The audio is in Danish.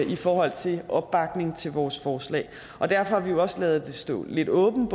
i forhold til opbakning til vores forslag og derfor har vi jo også ladet det stå lidt åbent